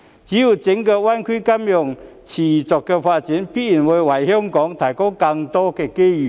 只要整個大灣區金融業持續發展，便必然會為香港提供更多機遇。